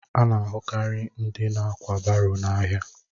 A na-ahụ karị ndị na-ákwà baro n'ahịa